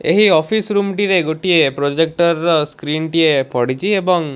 ଏହି office room ଟିରେ ଗୋଟିଏ ପ୍ରୋଜେକଟର ର ସ୍କ୍ରିନ୍ ଟିଏ ପଡିଚି ଏବଂ --